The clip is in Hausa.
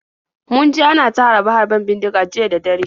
Mun ji ana ta harbe-harben bindiga jiya da dare.